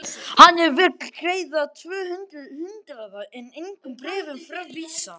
Hann vill greiða tvö hundruð hundraða en engum bréfum framvísa!